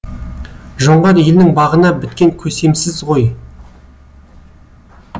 жоңғар елінің бағына біткен көсемсіз ғой